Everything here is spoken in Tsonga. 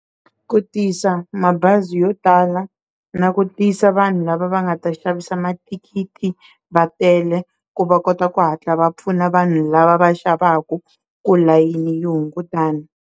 Ku tisa mabazi yo tala na ku tisa vanhu lava va nga ta xavisa mathikithi va tele ku va kota ku hatla va pfuna vanhu lava va xavaku ku tilayini hungutana.